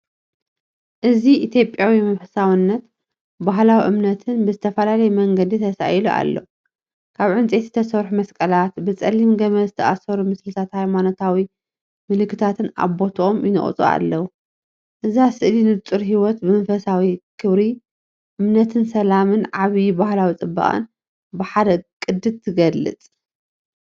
እዚ ኢትዮጵያዊ መንፈሳውነትን ባህላዊ እምነትን ብዝተፈላለየ መንገዲ ተሳኢሉ ኣሎ። ካብ ዕንጨይቲ ዝተሰርሑ መስቀላት፡ብጸሊም ገመድ ዝተኣስሩ ምስልታትን ሃይማኖታዊ ምልክታትን ኣብ ቦታኦም ይነቕጹ ኣለዉ። እዛ ስእሊንጹር ህይወት ብመንፈሳዊ ክብሪ ት፤ እምነትን ሰላምን ዓቢ ባህላዊ ጽባቐን ብሓደ ቅዲ ትገልጽ።